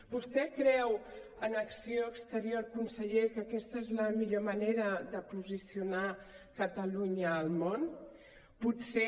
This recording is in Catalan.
vostè creu en acció exterior conseller que aquesta és la millor manera de posicionar catalunya al món potser